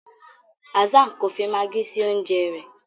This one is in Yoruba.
Hassan kọ fí Maggie sí oúnjẹ rẹ.